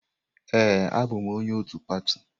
Ee, abụm onye otu pati.